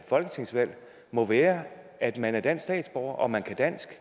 folketingsvalg må være at man er dansk statsborger og man kan dansk